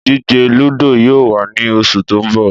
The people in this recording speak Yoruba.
Ìdíje lúdò yóò wà ní oṣù tó ń bọ̀